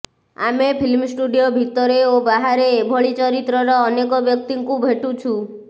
ଆମେ film studio ଭିତରେ ଓ ବାହାରେ ଏଭଳି ଚରିତ୍ରର ଅନେକ ବ୍ୟକ୍ତିଙ୍କୁ ଭେଟୁଛୁ